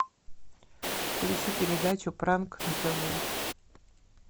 включи передачу пранк на тв